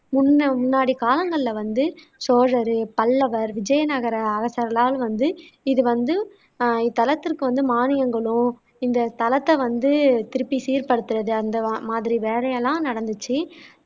முன்ன முன்னாடி காலங்களில வந்து சோழர், பல்லவர், விஜய நகர அரசர்களால் வந்து இது வந்து அஹ் இத்தலத்திற்கு வந்து மானியங்களும் இந்த தலத்தை வந்து திருப்பி சீர்படுத்துறது அந்த மா மாதிரி வேலையெல்லாம் நடந்துச்சு